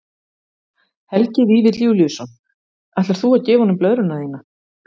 Helgi Vífill Júlíusson: Ætlar þú að gefa honum blöðruna þína?